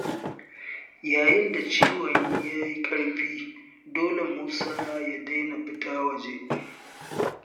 Yayin da ciwon ya yi ƙarfi, dole Musa ya daina fita waje.